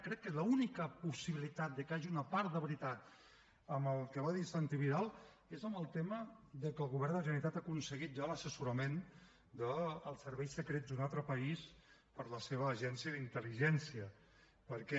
crec que l’única possibilitat de que hi hagi una part de veritat en el que va dir santi vidal és en el tema de que el govern de la generalitat ha aconseguit ja l’assessorament dels serveis secrets d’un altre país per a la seva agència d’intel·ligència perquè